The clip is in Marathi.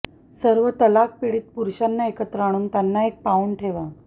सर्व तलाकपीडित पुरुषांना एकत्र आणून त्यांना एक पाउंड ठेवा